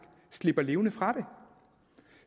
slipper levende fra det